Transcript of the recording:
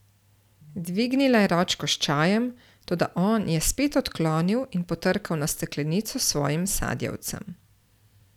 Dvignila je ročko s čajem, toda on je spet odklonil in potrkal na steklenico s svojim sadjevcem.